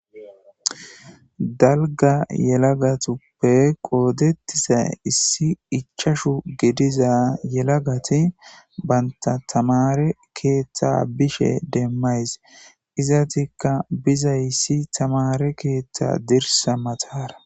dalga yelagatuppe qoodettiza issi ichashu gediza yelagati banta tamare keeththa bishe demmays izatikka bizayissi tamare keeththa dirsa matara